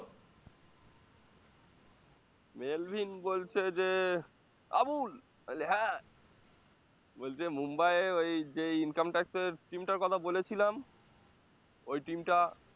Melvin বলছে যে আবুল, আমি বলি হ্যাঁ বলছে মুম্বাইয়ে ওই যে income tax এর team টার কথা বলেছিলাম ওই team টা